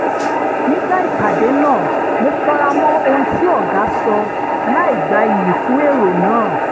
nígbà ìpàdé náà mo fara mọ́ ohun tí ọ̀gá sọ láìgba iyì fún èrò náà